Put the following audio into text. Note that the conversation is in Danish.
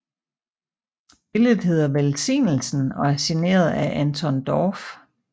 Billedet hedder Velsignelsen og er signeret af Anton Dorph